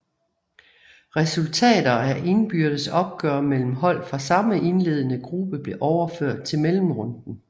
Resultater af indbyrdes opgør mellem hold fra samme indlende gruppe blev overført til mellemrunden